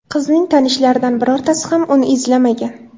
Qizning tanishlaridan birortasi ham uni izlamagan.